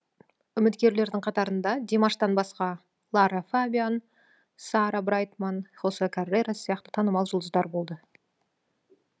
үміткерлердің қатарында димаштан басқа лара фабиан сара брайтман хосе каррерас сияқты танымал жұлдыздар болды